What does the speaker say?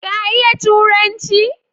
Ka iya Turanci?